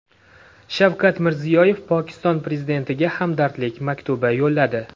Shavkat Mirziyoyev Pokiston prezidentiga hamdardlik maktubi yo‘lladi.